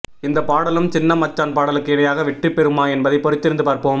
இந்த பாடலும் சின்ன மச்சான் பாடலுக்கு இணையாக வெற்றி பெறுமா என்பதை பொறுத்திருந்து பார்ப்போம்